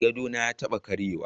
Gadona ya taba karyewa.